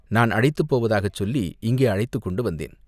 நான் அழைத்துப் போவதாகச் சொல்லி இங்கே அழைத்துக் கொண்டு வந்தேன்.